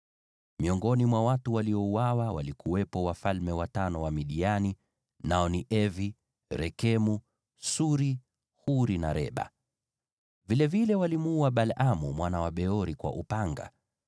Miongoni mwa watu waliouawa walikuwepo wafalme watano wa Midiani, nao ni Evi, Rekemu, Suri, Huri na Reba. Vilevile walimuua Balaamu mwana wa Beori kwa upanga.